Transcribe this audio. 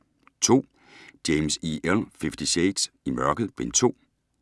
James, E. L.: Fifty shades: I mørket: Bind 2 E-bog 712404